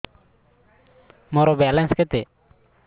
ମୋର ବାଲାନ୍ସ କେତେ